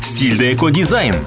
стилді эко дизайн